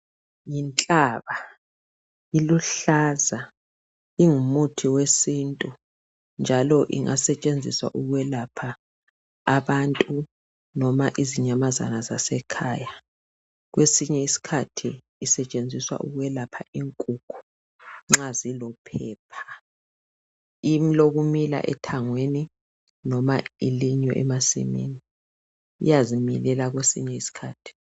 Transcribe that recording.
Yinhlaba, iluhlaza, ingumuthi wesintu, njalo ingasetshenziswa ukwelapha abantu noma izinyamazana zasekhaya. Kwesinye iskhathi isetshenziswa ukwelapha inkukhu nxa zilophepha. Ilokumila ethangweni noma ilinywe emasimini. Iyazimilela kwesinye isikhathi.